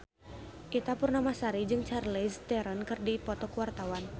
Ita Purnamasari jeung Charlize Theron keur dipoto ku wartawan